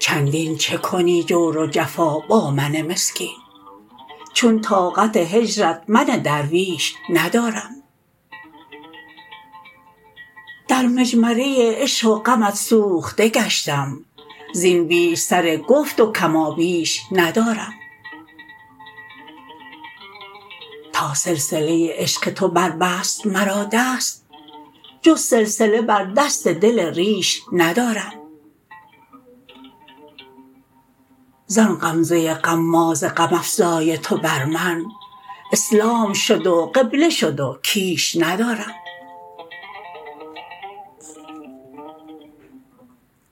چندین چه کنی جور و جفا با من مسکین چون طاقت هجرت من درویش ندارم در مجمره عشق و غمت سوخته گشتم زین بیش سر گفت و کمابیش ندارم تا سلسله عشق تو بربست مرا دست جز سلسله بر دست دل ریش ندارم زان غمزه غماز غم افزای تو بر من اسلام شد و قبله شد و کیش ندارم